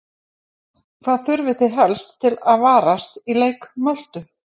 Hvað þurfið þið helst að varast í leik Möltu?